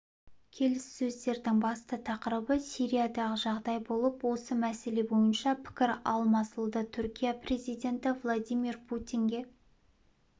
келіссөздердің басты тақырыбы сириядағы жағдай болып осы мәселе бойынша пікір алмасылды түркия президенті владимир путинге